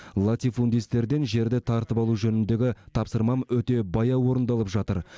латифундистерден жерді тартып алу жөніндегі тапсырмам өте баяу орындалып жатыр